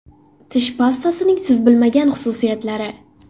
Tish pastasining siz bilmagan xususiyatlari.